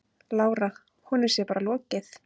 Lára: Honum sé bara lokið?